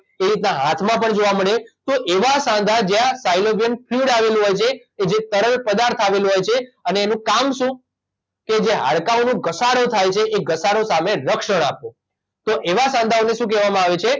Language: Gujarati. એ રીતના હાથમાં પણ જોવા મલે તો એવા સાંધા જ્યાં સાયલોવિયન ફ્લૂડ આવેલું હોય છે કે જે તરલ પદાર્થ આવેલું હોય છે અને એનું કામ શું કે જે હાડકાંઓનો ઘસારો થાય છે એ ઘસારો સામે રક્ષણ આપવું તો એવા સાંધાઓને શું કહેવામાં આવે છે